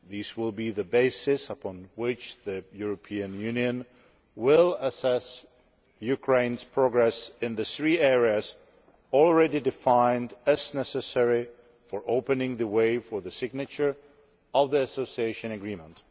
These will be the basis upon which the European Union will assess Ukraine's progress in the three areas already defined as necessary for opening the way for the signature of the Association Agreement.